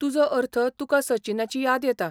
तुजो अर्थ तुकां सचिनाची याद येता.